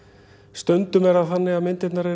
stundum er það þannig að myndirnar